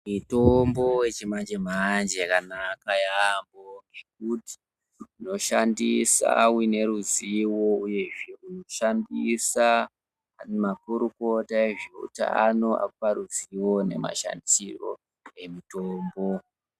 Mitombo yechimanje-manje yakanaka yaambo ngekuti unoshandisa uine ruziwo, uyezve unoshandisa makurukota ezveutano akupa ruziwo ne mashandisiro emitombo.